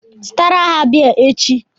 Zụtara ha bịa echi!